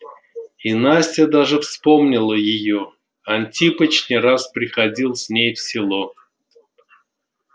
и настя даже вспомнила её антипыч не раз приходил с ней в село